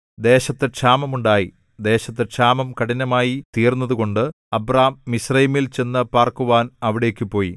ദേശത്ത് ക്ഷാമം ഉണ്ടായി ദേശത്ത് ക്ഷാമം കഠിനമായി തീർന്നതുകൊണ്ട് അബ്രാം മിസ്രയീമിൽ ചെന്നുപാർക്കുവാൻ അവിടേക്കു പോയി